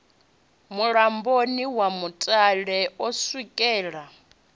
mulamboni wa mutale u sukela